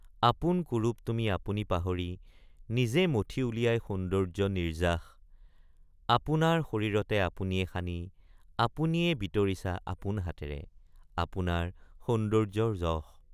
আপোন কুৰূপ তুমি আপুনি মোহাৰি নিজে মথি উলিয়াই সৌন্দৰ্য্য নিৰ্য্যাস আপোনাৰ শৰীৰতে আপুনিয়ে সানি আপুনিয়ে বিতৰিছা আপোন হাতেৰে আপোনাৰ সৌন্দৰ্যৰ যশ।